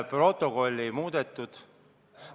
Protokolli ei muudetud.